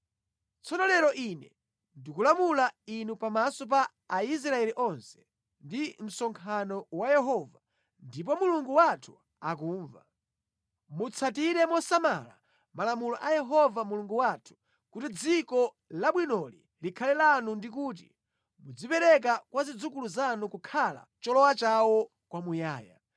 “Tsono lero ine ndikulamula inu pamaso pa Aisraeli onse ndi pa msonkhano wa Yehova, ndipo Mulungu wathu akumva: Mutsatire mosamala malamulo a Yehova Mulungu wathu, kuti dziko labwinoli likhale lanu ndi kuti mudzalipereke kwa zidzukulu zanu kukhala cholowa chawo kwamuyaya.”